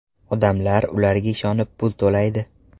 Odamlar ularga ishonib pul to‘laydi.